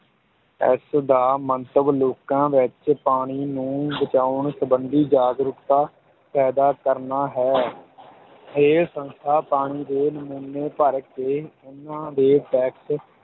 ਇਸ ਦਾ ਮੰਤਵ ਲੋਕਾਂ ਵਿੱਚ ਪਾਣੀ ਨੂੰ ਬਚਾਉਣ ਸੰਬੰਧੀ ਜਾਗਰੂਕਤਾ ਪੈਦਾ ਕਰਨਾ ਹੈ ਇਹ ਸੰਸਥਾ ਪਾਣੀ ਦੇ ਨਮੂਨੇ ਭਰ ਕੇ ਉਨ੍ਹਾਂ ਦੇ test